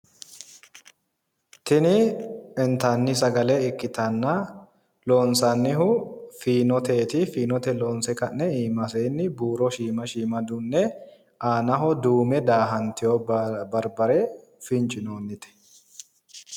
Tini intanni sagale ikkitanna loonsannihu fiinoteeti fiinote loonse ka'ne iimaseenni buuro shiima shiima dunne aana duume daahantewo barbare fincinoonnite